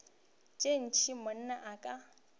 tša ntshe monna o ka